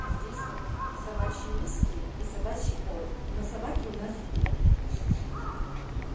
а здесь вот собачьи миски и собачий корм но собаки у нас нет ха-ха